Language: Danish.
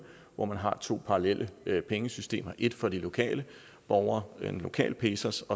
hvor man har to parallelle pengesystemer et for de lokale borgere en lokal pesos